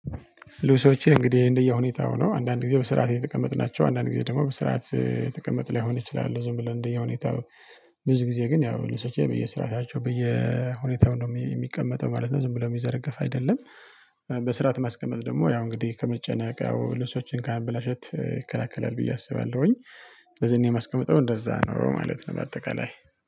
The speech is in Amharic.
ልብሶቼ እንግዲህ እንደየ ሁኔታው ነው አንዳንድ ጊዜ በስርዓት የተቀመጡ ናቸው አንዳንድ ጊዜ ደግሞ በስርዓት የተቀመጡ ላይሆኑ ይችላሉ ዝም ብሎ እንደየሁኔታው ብዙ ጊዜ ግን ያው የልብሶቼ በየስራታቸው በየሁኔታው ነው የሚቀመጠው ማለት ነው። ዝም ብሎ የሚዘረገፍ አይደለም። በስርዓት ማስቀመጥ ደግሞ ያው እንግዲህ ከመጨነቅ ያው ልብሶችን ከማበላሸት ይከላከላል ብዬ አስባለሁኝ። ስለዚህ አኔ የማስቀመጠው እንደዛ ነው ማለት ነው በአጠቃላይ